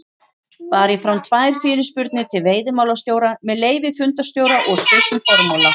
bar ég fram tvær fyrirspurnir til veiðimálastjóra með leyfi fundarstjóra og stuttum formála